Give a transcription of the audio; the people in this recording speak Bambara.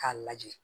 K'a lajɛ